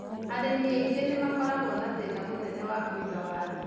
Arĩmi aingĩ nĩ makoragwo na thĩna mũnene wa kũiga waru.